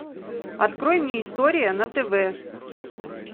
открой мне история на тв